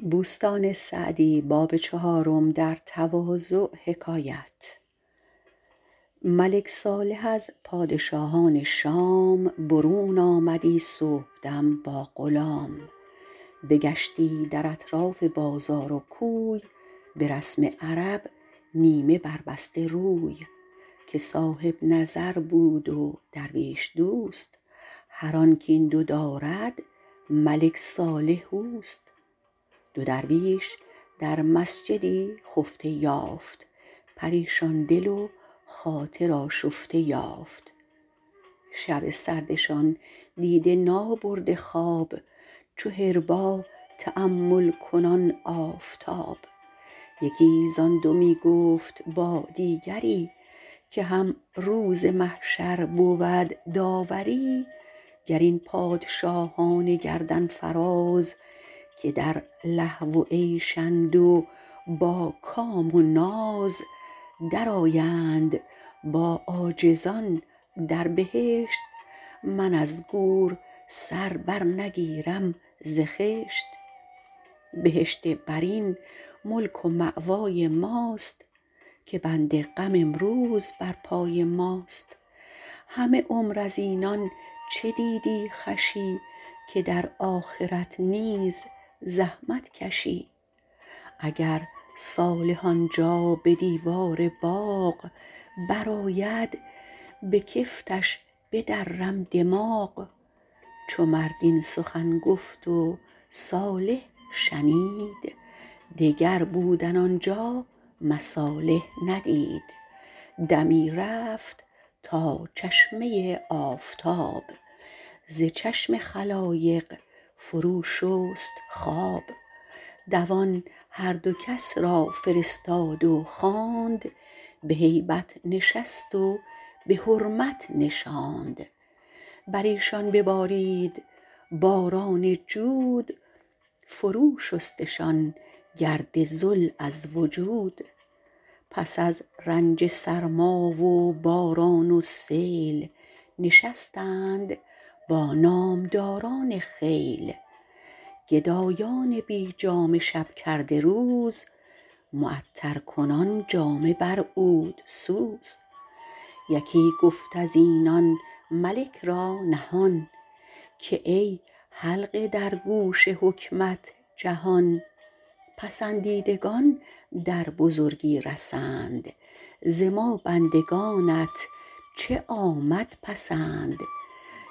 ملک صالح از پادشاهان شام برون آمدی صبحدم با غلام بگشتی در اطراف بازار و کوی به رسم عرب نیمه بر بسته روی که صاحب نظر بود و درویش دوست هر آن کاین دو دارد ملک صالح اوست دو درویش در مسجدی خفته یافت پریشان دل و خاطر آشفته یافت شب سردشان دیده نابرده خواب چو حربا تأمل کنان آفتاب یکی زآن دو می گفت با دیگری که هم روز محشر بود داوری گر این پادشاهان گردن فراز که در لهو و عیشند و با کام و ناز در آیند با عاجزان در بهشت من از گور سر بر نگیرم ز خشت بهشت برین ملک و مأوای ماست که بند غم امروز بر پای ماست همه عمر از اینان چه دیدی خوشی که در آخرت نیز زحمت کشی اگر صالح آنجا به دیوار باغ بر آید به کفتش بدرم دماغ چو مرد این سخن گفت و صالح شنید دگر بودن آنجا مصالح ندید دمی رفت تا چشمه آفتاب ز چشم خلایق فرو شست خواب دوان هر دو را کس فرستاد و خواند به هیبت نشست و به حرمت نشاند بر ایشان ببارید باران جود فرو شستشان گرد ذل از وجود پس از رنج سرما و باران و سیل نشستند با نامداران خیل گدایان بی جامه شب کرده روز معطر کنان جامه بر عود سوز یکی گفت از اینان ملک را نهان که ای حلقه در گوش حکمت جهان پسندیدگان در بزرگی رسند ز ما بندگانت چه آمد پسند